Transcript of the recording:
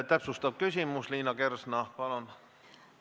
Täpsustav küsimus, Liina Kersna, palun!